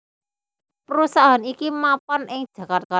Perusahaan iki mapan ing Jakarta